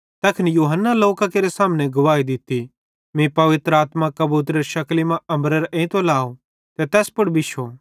तैखन यूहन्ने लोकां केरे सामने गवाही दित्ती मीं पवित्र आत्मा कबूतरेरे शकली मां अम्बरेरां एइतो लाव ते तै तैस पुड़ बिश्शो